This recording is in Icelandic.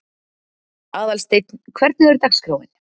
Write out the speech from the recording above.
Aðalsteinn, hvernig er dagskráin?